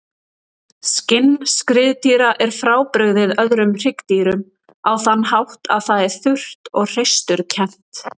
Skinn skriðdýra er frábrugðið öðrum hryggdýrum á þann hátt að það er þurrt og hreisturkennt.